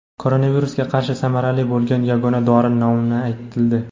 Koronavirusga qarshi samarali bo‘lgan yagona dori nomi aytildi.